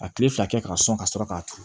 A tile fila kɛ k'a sɔn ka sɔrɔ k'a turu